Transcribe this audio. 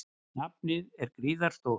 Nafnið er gríðarstórt.